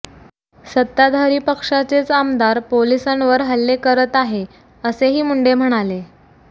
सत्ताधारी पक्षाचेच आमदार पोलिसांवर हल्ले करत आहे असेही मुंडे म्हणाले